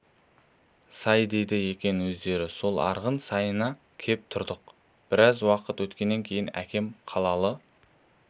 сай дейді екен өздері сол арғын сайына кеп тұрдық біраз уақыт өткеннен кейін әкем қалалы